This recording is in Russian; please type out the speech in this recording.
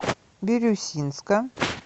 бирюсинска